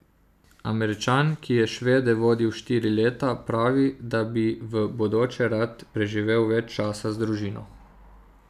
Američan, ki je Švede vodil štiri leta, pravi, da bi v bodoče rad preživel več časa z družino.